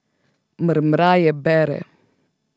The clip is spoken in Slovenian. Mrmraje bere.